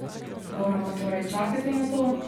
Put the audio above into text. Moramo torej čakati na to?